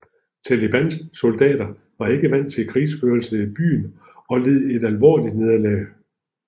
Talibans soldater var ikke vant til krigførelse i byer og led et alvorligt nederlag